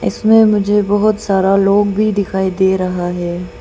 इसमें मुझे बहोत सारा लोग भी दिखाई दे रहा है।